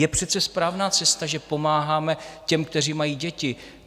Je přece správná cesta, že pomáháme těm, kteří mají děti.